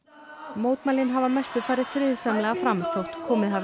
mótmælin hafa að mestu farið friðsamlega fram þótt komið hafi